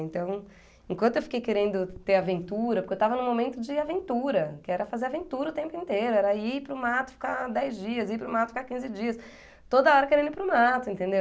Então, enquanto eu fiquei querendo ter aventura, porque eu estava num momento de aventura, que era fazer aventura o tempo inteiro, era ir para o mato ficar dez dias, ir para o mato ficar quinze dias, toda hora querendo ir para o mato, entendeu?